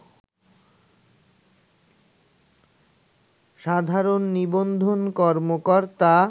সাধারণ নিবন্ধন কর্মকর্তা